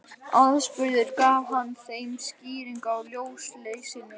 Aðspurður gaf hann þeim skýringu á ljósleysinu